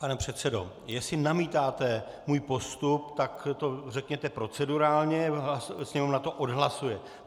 Pane předsedo, jestli namítáte můj postup, tak to řekněte procedurálně a Sněmovna to odhlasuje.